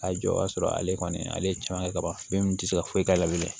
A jɔ o b'a sɔrɔ ale kɔni ale ye caman kɛ ka ban min tɛ se ka foyi k'a la bilen